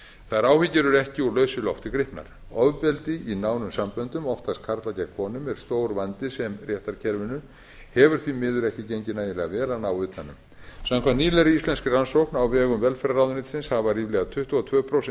þær áhyggjur eru ekki úr lausu lofti gripnar ofbeldi í nánum samböndum oftast karla gegn konum er sá vandi sem réttarkerfinu hefur því miður ekki gengið nægilega vel að ná utan um samkvæmt nýlegri íslenskri rannsókn á vegum velferðarráðuneytisins hafa ríflega tuttugu og tvö prósent